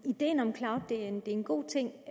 ideen om cloud er en god ting